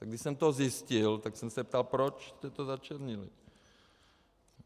A když jsem to zjistil, tak jsem se ptal, proč jste to začernili.